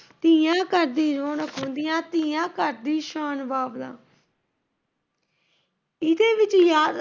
ਧੀਆਂ ਘਰ ਦੀ ਰੌਣਕ ਹੁੰਦੀਆਂ, ਧੀਆਂ ਘਰ ਦੀ ਸ਼ਾਨ ਬਾਬਲਾ, ਇਹਦੇ ਵਿੱਚ